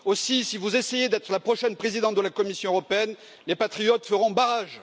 Aussi, si vous essayez d'être la prochaine présidente de la Commission européenne, les patriotes feront barrage!